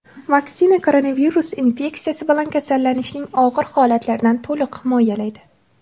Vaksina koronavirus infeksiyasi bilan kasallanishning og‘ir holatlaridan to‘liq himoyalaydi.